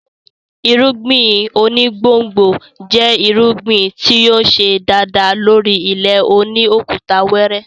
Irúngbìn oní gbòngbò jẹ́ irúgbìn tí yóò ṣe dáadáa lórí ilẹ̀ òní òkúta wẹrẹ